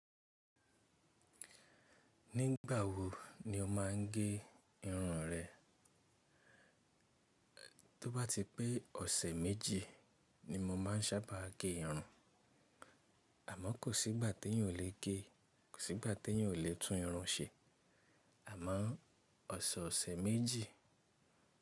Ní ìgbà wo ni o má n gé irun rẹ? Tó bá ti pé ọ̀sẹ̀ méjì ni mo má n sábà gé irun. Àmọ́ kò sí ìgbà tí eyan ò le gé, kò sí ìgbà tí eyan ò le tún irun ṣe. Àmọ́ ọ̀sẹ̀, ọ̀sẹ̀ méjì.